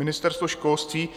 Ministerstvo školství